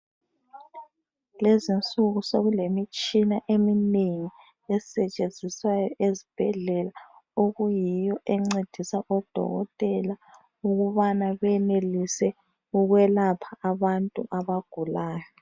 Lezinsuku sokulemitshina eminengi esetshenziswayo ezibhedlela, okuyiyo encedisa odokotela ukubana benelise ukwelapha abantu abagulayo.